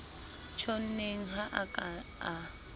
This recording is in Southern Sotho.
tjhonneng ha a ka a